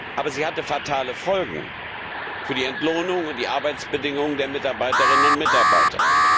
Aber sie hatte fatale Folgen für die Entlohnung und die Arbeitsbedingungen der Mitarbeiterinnen und Mitarbeiter.